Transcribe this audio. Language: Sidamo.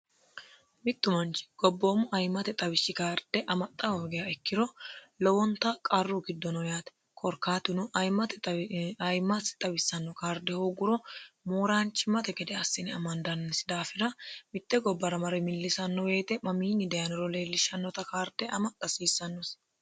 mittu manchi gobboommu ayimate xawishshi karde amaxxa hoogiha ikkiro lowonta qarru giddo no yaate korikaatuno ayimate ayimasi xawissanno karde hoogguro mooraanchimmate gede assine amandannisi daafira mitte gobbara mare millisanno woyte mamiinni dayaniro leellishshannota karde amaxxa hasiissannosi